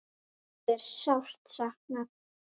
Erlu er sárt saknað.